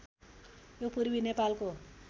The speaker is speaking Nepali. यो पूर्वी नेपालको